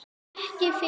Ekki fyrr!